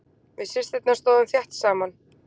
Við systurnar stóðum þétt saman.